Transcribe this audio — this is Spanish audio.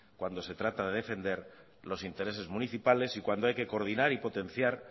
cuando se trata de defender los intereses municipales y cuando hay que coordinar y potenciar